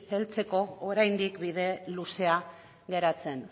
heltzeko oraindik bide luzea geratzen